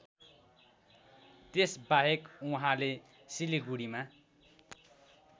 त्यसबाहेक उहाँले सिलिगुढीमा